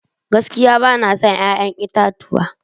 Gaskiya bana son 'ya'yan itatuwa.